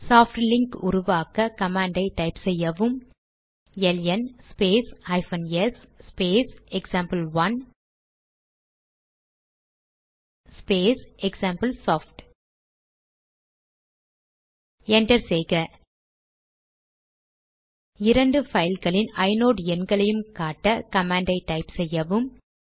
soft link உருவாக்க command type செய்யவும் LN space hyphen S space example1 space example soft enter செய்க இரண்டு பைல்களின் ஐநோட் எண்களையும் காட்ட கமாண்ட் டைப் செய்யவும்